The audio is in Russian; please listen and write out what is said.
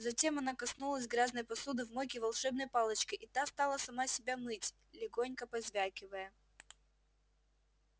затем она коснулась грязной посуды в мойке волшебной палочкой и та стала сама себя мыть легонько позвякивая